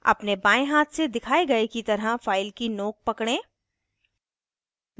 अपने बाएं हाथ से दिखाए गए की तरह फ़ाइल की नोक पकड़ें